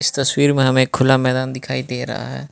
तस्वीर में हमें एक खुला मैदान दिखाई दे रहा है।